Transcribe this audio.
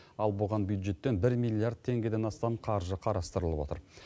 ал бұған бюджеттен бір миллиард теңгеден астам қаржы қарастырылып отыр